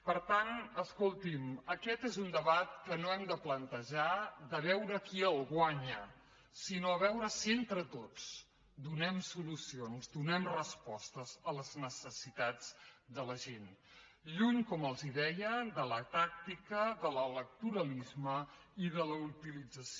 per tant escolti’m aquest és un debat en què no hem de plantejar veure qui el guanya sinó veure si entre tots donem solucions donem respostes a les necessitats de la gent lluny com els deia de la tàctica de l’electoralisme i de la utilització